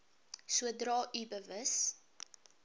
sodra u bewus